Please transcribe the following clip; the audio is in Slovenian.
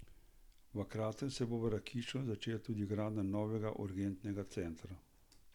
V kratkem se bo v Rakičanu začela tudi gradnja novega urgentnega centra.